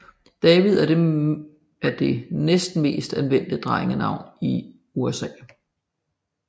David er det næstmest anvendte drengenavn i USA